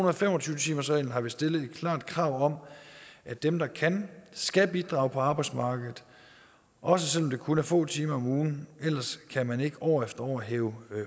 og fem og tyve timersreglen har vi stillet et klart krav om at dem der kan skal bidrage på arbejdsmarkedet også selv om det kun er få timer om ugen ellers kan man ikke år efter år hæve